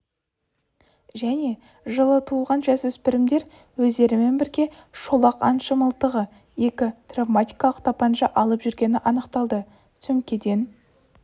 және жылы туған жасөспірімдер өздерімен бірге шолақ аңшы мылтығы екі травматикалық тапанша алып жүргені анықталды сөмкеден